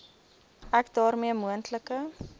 ek daarmee moontlike